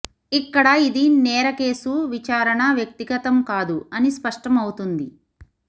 ఇక్కడ ఇది నేర కేసు విచారణ వ్యక్తిగతం కాదు అని స్పష్టం అవుతుంది